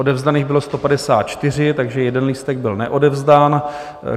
Odevzdaných bylo 154, takže jeden lístek byl neodevzdán.